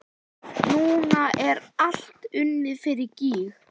Núna er allt unnið fyrir gýg.